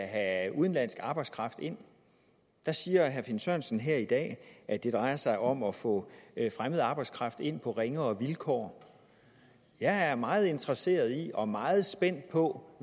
have udenlandsk arbejdskraft ind siger herre finn sørensen her i dag at det drejer sig om at få fremmed arbejdskraft ind på ringere vilkår jeg er meget interesseret i og meget spændt på